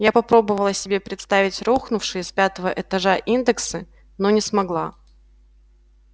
я попробовала себе представить рухнувшие с пятого этажа индексы но не смогла